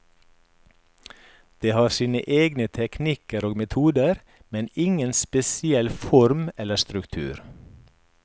De har sine egne teknikker og metoder, men ingen spesiell form eller struktur.